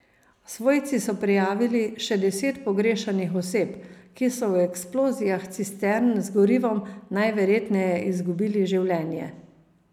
Svojci so prijavili še deset pogrešanih oseb, ki so v eksplozijah cistern z gorivom najverjetneje izgubili življenje.